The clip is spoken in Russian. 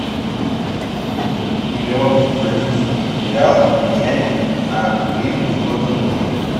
миллион бразильский реал поменять на гривну сколько нужно